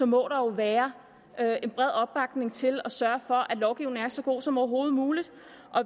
må der vel være en bred opbakning til at sørge for at lovgivningen er så god som overhovedet muligt